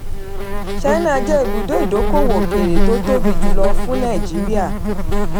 china jẹ́ ibùdó ìdókòwò òkèèrè tó tóbi jùlọ fún nàìjíríà.